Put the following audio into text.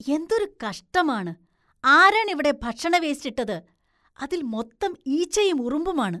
എന്തൊരു കഷ്ടമാണ്, ആരാണിവിടെ ഭക്ഷണവേസ്റ്റ് ഇട്ടത്? അതില്‍ മൊത്തം ഈച്ചയും ഉറുമ്പുമാണ്.